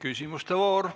Küsimuste voor.